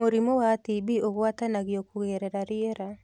Mũrimũ wa TB ũgwatanagio kũgerera rĩera